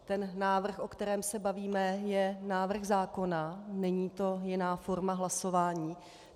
Ten návrh, o kterém se bavíme, je návrh zákona, není to jiná forma hlasování.